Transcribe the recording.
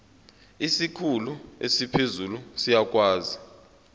isikhulu esiphezulu siyakwazi